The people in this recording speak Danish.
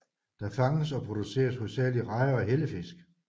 Der fanges og produceres hovedsageligt rejer og hellefisk